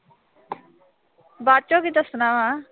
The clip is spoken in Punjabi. ਬਾਅਦ ਚੋਂ ਕੀ ਦੱਸਣਾ ਵਾ।